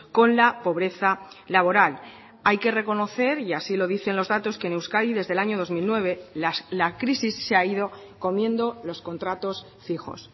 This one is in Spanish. con la pobreza laboral hay que reconocer y así lo dicen los datos que en euskadi desde el año dos mil nueve la crisis se ha ido comiendo los contratos fijos